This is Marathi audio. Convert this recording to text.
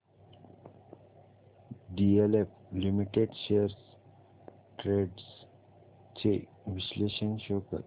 डीएलएफ लिमिटेड शेअर्स ट्रेंड्स चे विश्लेषण शो कर